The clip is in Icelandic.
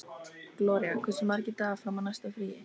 Gloría, hversu margir dagar fram að næsta fríi?